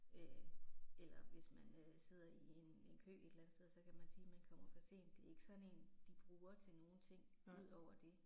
Øh eller hvis man øh sidder i en en kø et eller andet sted, så kan man sige man kommer for sent, det er ikke sådan én de bruger til nogen ting udover det